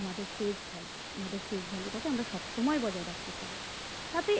আমাদের face valueface value টাকে আমরা সবসময় বজায় রাখতে চাই তাতে